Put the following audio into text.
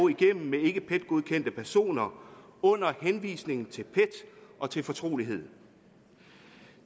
igennem med ikke pet godkendte personer under henvisning til pet og til fortrolighed